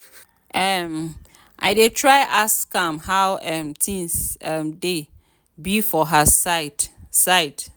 um i dey try ask am how um things um dey be for her side side.